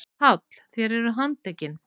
PÁLL: Þér eruð handtekin.